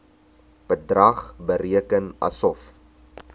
bedrag bereken asof